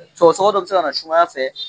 sɔgɔsɔgɔ dɔ bɛ se ka na sumaya fɛ